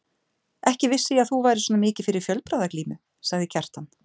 Ekki vissi ég að þú værir svona mikið fyrir fjölbragðaglímu, sagði Kjartan.